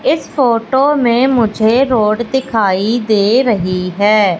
इस फोटो में मुझे रोड दिखाई दे रही हैं।